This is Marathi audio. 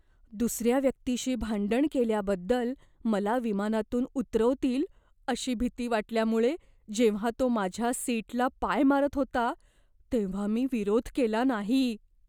दुसर्या व्यक्तीशी भांडण केल्याबद्दल मला विमानातून उतरवतील अशी भीती वाटल्यामुळे जेव्हा तो माझ्या सीटला पाय मारत होता तेव्हा मी विरोध केला नाही.